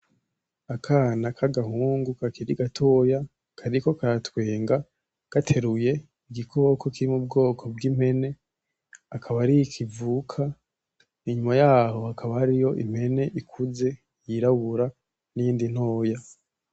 Akana kagahungu kakiri gatoya kariko karatwenga gateruye igikoko kiri mu bgoko bg'impene akaba ariho ikivuka inyuma yaho hakaba hariyo impene ikuze yirabura niyindi ntoya.